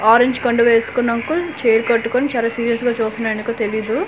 Orange కండువా వేస్కున్న uncle చెయ్యిలు కట్టుకొని చాలా సీరియస్ గా చూస్తున్నాడు ఎందుకో తెలియదు.